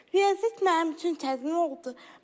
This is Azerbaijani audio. Riyaziyyat mənim üçün çətin oldu.